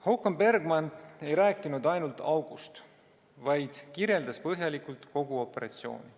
Håkan Bergmark ei rääkinud ainult august, vaid kirjeldas põhjalikult kogu operatsiooni.